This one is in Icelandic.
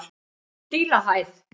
Dílahæð